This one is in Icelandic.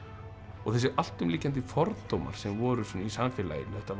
þessir allt um lykjandi fordómar sem voru í samfélaginu þetta var